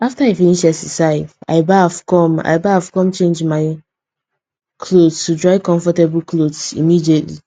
after i finish exercise i baff come i baff come change my clothes to dry comfortable clothes immediately